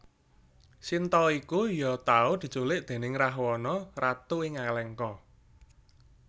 Sinta iku ya tau diculik déning Rahwana Ratu ing Alengka